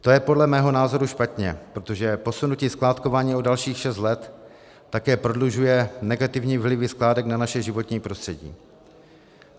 To je podle mého názoru špatně, protože posunutí skládkování o dalších šest let také prodlužuje negativní vlivy skládek na naše životní prostředí.